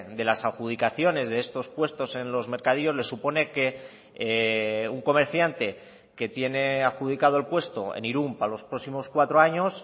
de las adjudicaciones de estos puestos en los mercadillos les supone que un comerciante que tiene adjudicado el puesto en irún para los próximos cuatro años